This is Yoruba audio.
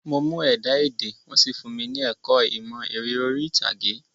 Mo mú ẹ̀dá-èdè, wọ́n sì fúnmi ní ẹ̀kọ́ ìmọ̀ eré orí ìtàgé.